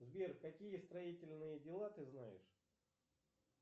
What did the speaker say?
сбер какие строительные дела ты знаешь